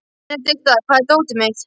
Benedikta, hvar er dótið mitt?